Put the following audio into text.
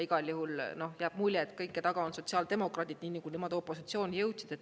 Igal juhul jääb mulje, et kõige taga on sotsiaaldemokraadid, nii nagu nemad opositsiooni jõudsid.